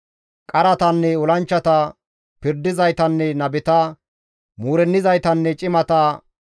Qaratanne olanchchata, pirdizaytanne nabeta, muurennizaytanne cimata,